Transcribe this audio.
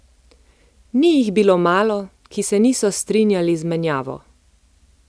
Ni jih bilo malo, ki se niso strinjali z menjavo.